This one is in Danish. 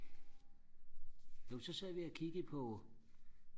nå men så sad vi og kiggede på